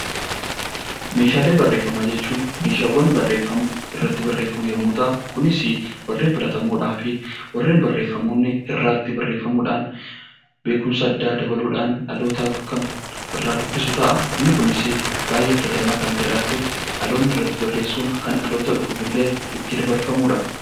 Meeshaalee barreeffamaa jechuun meeshaawwan barreeffamu, irratti barreeffamu yommuu ta'an, kunis warreen filatamoodhaa fi warreen barreeffama hin guutne irratti barreeffamuudhaan, beekumsa addaa dabaluudhaan dhalootaaf kan irraa dubbisu ta'a. Inni kunis baay'ee filatamaa kan ta'ee fi dhaloonni irratti barreessuun kan dhaloota dhufuuf illee itti dabarfamudha.